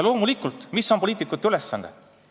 Loomulikult, mis on poliitikute ülesanne?